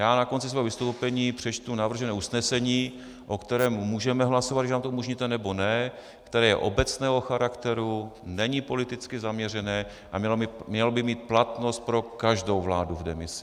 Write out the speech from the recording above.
Já na konci svého vystoupení přečtu navržené usnesení, o kterém můžeme hlasovat, když nám to umožníte, nebo ne, které je obecného charakteru, není politicky zaměřené a mělo by mít platnost pro každou vládu v demisi.